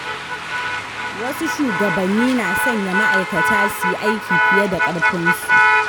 Wasu shugabanni na sanya ma’aikata suyi aiki fiye da ƙarfin su.